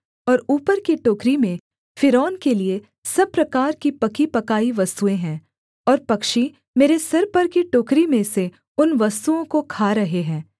और ऊपर की टोकरी में फ़िरौन के लिये सब प्रकार की पकी पकाई वस्तुएँ हैं और पक्षी मेरे सिर पर की टोकरी में से उन वस्तुओं को खा रहे हैं